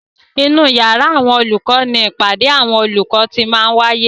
Inú yàrá àwọn olùkọ ni ìpàdé àwọn olùkọ ti máa ń wáyé.